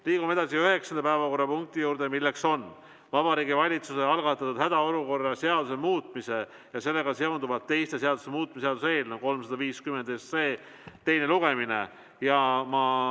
Liigume edasi üheksanda päevakorrapunkti juurde, milleks on Vabariigi Valitsuse algatatud hädaolukorra seaduse muutmise ja sellega seonduvalt teiste seaduste muutmise seaduse eelnõu 350 teine lugemine.